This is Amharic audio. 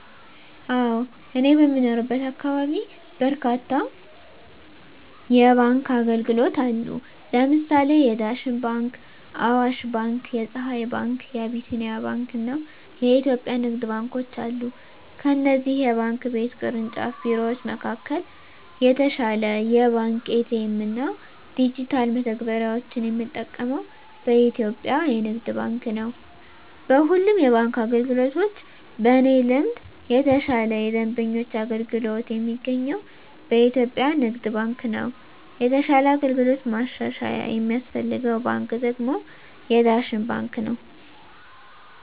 አወ እኔ በምኖርበት አካባቢ በርካታ የባንክ አገልግሎት አሉ ለምሳሌ የዳሽን ባንክ :አዋሽ ባንክ :የፀሀይ ባንክ : የአቢሲኒያ ባንክ አና የኢትዮጵያ ንግድ ባንኮች አሉ ከእነዚህ የባንክ ቤት ቅርንጫፍ ቢሮወች መካከል የተሻለ የባንክ ኤ.ቲ.ኤ.ም እና ዲጅታል መተግበሪያወችን የምጠቀመው በኢትዮጵያ የንግድ ባንክ ነው። በሁሉም የባንክ አገልግሎቶች በእኔ ልምድ የተሻለ የደንበኞች አገልግሎት የሚገኘው በኢትዮጵያ ንግድ ባንክ ነው የተሻለ አገልግሎት ማሻሻያ የሚያስፈልገው ባንክ ደግሞ የዳሽን ባንክ ነው።